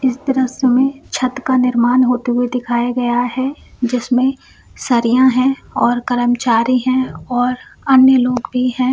इस दृश्य मे छत का निर्मान होते हुए दिखाया गया है जिसमे सरिया है और कर्मचारी है और अन्य लोग भी है।